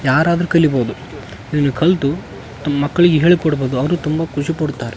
ಯಾರಾದ್ರು ಕಲೀಬಹುದು ಇಲ್ಲಿ ಕಲ್ತು ಮಕ್ಕಳಿಗೆ ಹೇಳ್ಕೊಡ್ಬಹುದು ಅವ್ರು ತುಂಬ ಖುಷಿ ಪಡ್ತಾರೆ.